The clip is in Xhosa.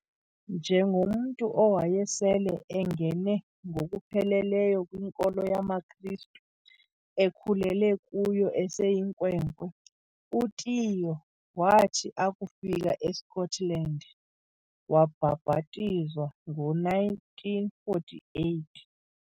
Njengomntu owayesele engene ngokupheleleyo kwinkolo yamaKristu, ekhulele kuyo eseyinkwenkwe, uTiyo wathi akufika eScotland wabhabhatizwa ngo1948.